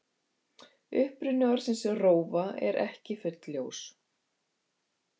Uppruni orðsins rófa er ekki fullljós.